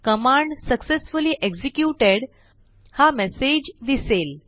command successfully executed हा message दिसेल